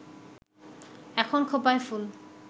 এখন খোঁপায় ফুল